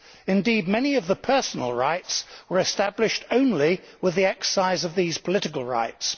Indeed many of the personal rights were established only with the exercise of these political rights.